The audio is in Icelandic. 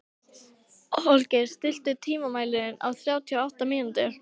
Holgeir, stilltu tímamælinn á þrjátíu og átta mínútur.